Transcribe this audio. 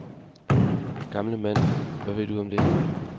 Gamle mand, hvad ved du om det?